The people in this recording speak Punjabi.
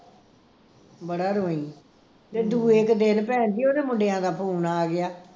ਬੜਾ ਰੋਈ ਤੇ ਦੂਏ ਕਿ ਦਿਨ ਭੈਣ ਜੀ ਉਹਦੇ ਮੁੰਡਿਆਂ ਦਾ phone ਆ ਗਿਆ